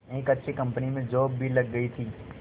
एक अच्छी कंपनी में जॉब भी लग गई थी